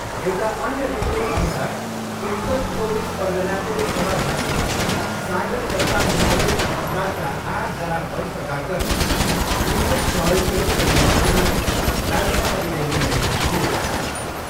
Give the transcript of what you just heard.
एउटा अन्य रिर्पोटअनुसार उत्तर चौबिस परगनाको कमरहाटीमा सागर दत्ता मेमोरियल अस्पतालका आठजना वरिष्ठ डाक्टरले जुनियर सहयोगीहरूको समर्थनमा राजिनामा दिने निर्णय लिएका छन्।